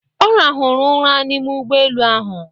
Ọ rahụrụ ụra n'ime ụgbọ elu ahụ.